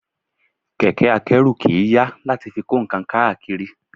Kẹ̀kẹ́ a kẹ́rù kì í yà láti fi kó nǹkan káàkiri